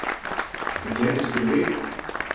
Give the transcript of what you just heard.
Þetta gerðist fyrir viku